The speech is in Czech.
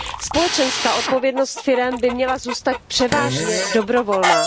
Společenská odpovědnost firem by měla zůstat převážně dobrovolná.